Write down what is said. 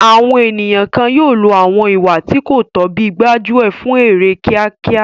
Àwọn ènìyàn kan yóò lo àwọn ìwà tí kò tọ́ bíi gbájú ẹ̀ fún èrè kíákíá.